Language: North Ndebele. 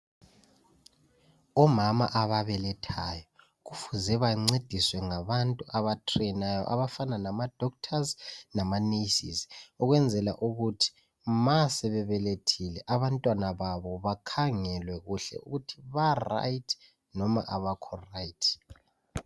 Omama ababelethayo kufuze bancediswe ngabantu abatrenayo abafana lamadokotela lamanesi ukwenzela ukuthi ma sebebelethile abantwababo bakhangelwe kuhle ukuthi ba right loma abakho right.